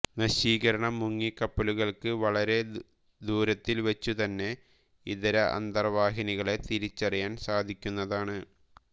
നശീകരണ മുങ്ങിക്കപ്പലുകൾക്ക് വളരെ ദൂരത്തിൽവച്ചുതന്നെ ഇതര അന്തർവാഹിനികളെ തിരിച്ചറിയാൻ സാധിക്കുന്നതാണ്